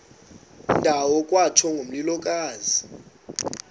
ndawo kwatsho ngomlilokazi